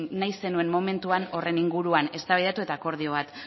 nahi zenuen momentuan horren inguruan eztabaidatu eta akordio bat